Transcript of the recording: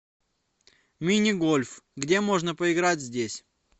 мини гольф где можно поиграть здесь